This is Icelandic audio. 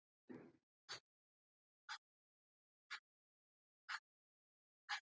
Ég hef áður nefnt stuttlega að seinni báturinn fórst með allri áhöfn.